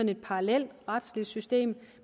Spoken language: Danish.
et parallelt retsligt system